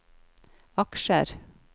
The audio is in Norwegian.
aksjer